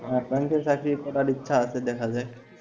হ্যাঁ ব্যাংকে চাকরি করার ইচ্ছা আছে দেখা যাক,